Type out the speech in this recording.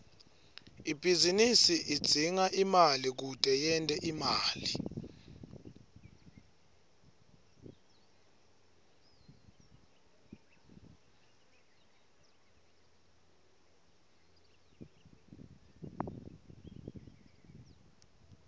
ibhizinisi idzinga imali kute yente imali